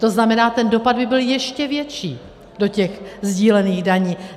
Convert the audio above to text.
To znamená, ten dopad by byl ještě větší do těch sdílených daní.